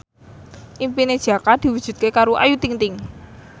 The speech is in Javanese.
impine Jaka diwujudke karo Ayu Ting ting